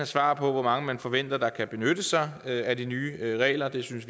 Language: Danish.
svar på hvor mange man forventer der kan benytte sig af de nye regler vi synes